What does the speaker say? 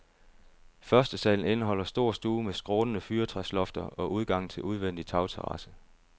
Førstesalen indeholder stor stue med skrånende fyrtræslofter og udgang til udvendig tagterrasse.